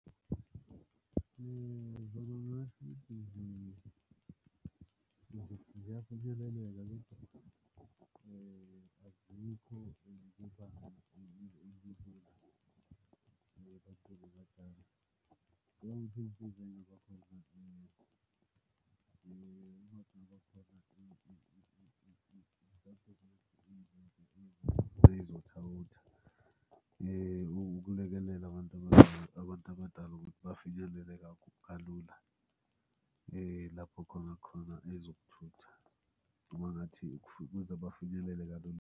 Zona ngingasho ukuthi ziyafinyeleleka azikho kubantu ukulekelela abantu abantu abadala ukuthi bafinyelele kalula lapho khona khona ezokuthutha noma ngathi noma ngathi ukuze bafinyelele kalula.